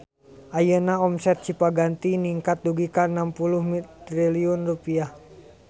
Ayeuna omset Cipaganti ningkat dugi ka 60 triliun rupiah